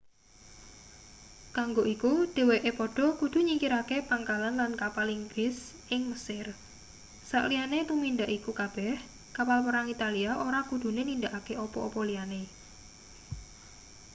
kanggo iku dheweke padha kudu nyingkirake pangkalan lan kapal inggris ing mesir saliyane tumindak iku kabeh kapal perang italia ora kudune nindakake apa-apa liyane